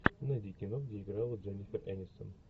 найди кино где играла дженнифер энистон